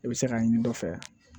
I bɛ se k'a ɲini dɔ fɛ